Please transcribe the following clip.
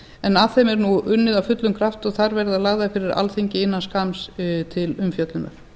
en að þeim er nú unnið af fullum krafti og þær verða lagðar fyrir alþingi innan skamms til umfjöllunar